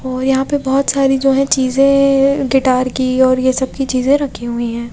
और यहां पे बहोत सारी जो है चीजें गिटार की और यह सब की चीजें रखी हुई हैं।